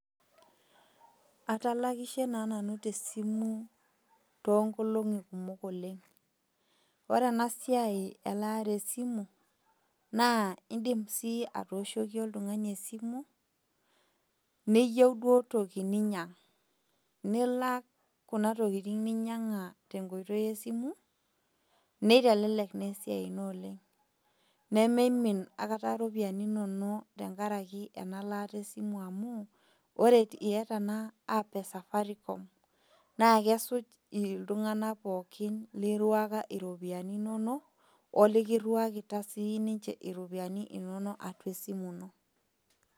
Atalakishe naa nanu tesimu toonkolong'i kumok oleng'. Ore enasiai elaare esimu naa indim sii atooshoki oltung'ani esimu neyou duo toki ninyang' nilak kuna tokitin ninyang'a tenkoitoi esimu neitelelek neesiai ino oleng' nemeimin akata iropiani inono tengaraki ena laata esimu amu ore iata naa app e safaricom naakesuj iltung'ana pooki lirruaka iropiani inono o likirruakita siininche iropiani ino atua esimu ino.